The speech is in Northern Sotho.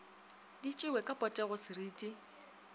di tšewe ka potego seriti